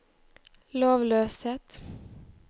lovløshet